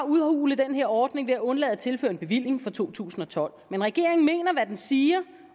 udhule den her ordning ved at undlade at tilføre en bevilling for to tusind og tolv men regeringen mener hvad den siger